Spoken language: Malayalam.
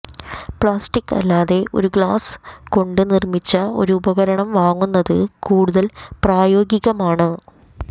പ്ലാസ്റ്റിക്ക് അല്ലാതെ ഒരു ഗ്ലാസ് കൊണ്ട് നിർമ്മിച്ച ഒരു ഉപകരണം വാങ്ങുന്നത് കൂടുതൽ പ്രായോഗികമാണ്